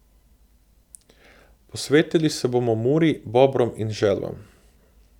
Posvetili se bomo Muri, bobrom in želvam.